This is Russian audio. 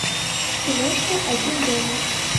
киношка один дома